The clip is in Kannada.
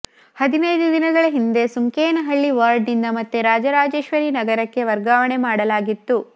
ಹದಿನೈದು ದಿನಗಳ ಹಿಂದೆ ಸುಂಕೇನಹಳ್ಳಿ ವಾರ್ಡ್ ನಿಂದ ಮತ್ತೆ ರಾಜರಾಜೇಶ್ವರಿ ನಗರಕ್ಕೆ ವರ್ಗಾವಣೆ ಮಾಡಲಾಗಿತ್ತು